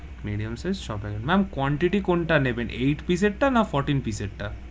Medium size ছ packet, ma'am quantity কোনটা নেবেন? eight piece টা না fourteen piece টা?